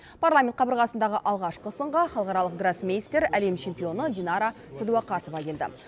парламент қабырғасындағы алғашқы сынға халықаралық гроссмейстер әлем чемпионы динара сәдуақасова келді